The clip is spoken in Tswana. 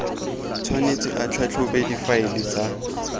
tshwanetse a tlhatlhobe difaele tsa